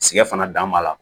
Siga fana dan b'a la